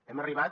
hem arribat